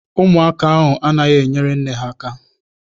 Ụmụaka ahụ anaghị enyere nne ha aka.